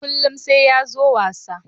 Kullun sai ya zo wasa.